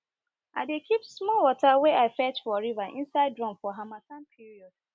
i dey keep small water wey i fetch for river inside drum for harmattan period